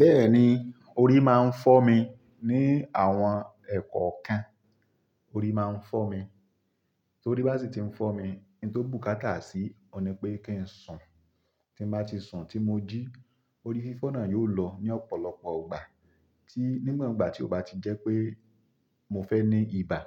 Bẹ́ẹ̀ni, orí máa ń fọ́ mi ní àwọn ẹ̀kọ kan, orí máa ń fọ́ mi. Torí bá sì ti ń fọ́ mi, n tó ku káta sì, òun ni pé kí ń sùn. Tí mo bá ti sùn tí mo jí, orí fífọ́ náà yóò lọ ní ọ̀pọ̀lọpọ̀ ìgbà. Tí ni won igba tí ó bá ti jẹ́ pé mo fẹ́ ní ibà.